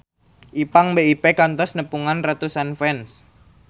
Ipank BIP kantos nepungan ratusan fans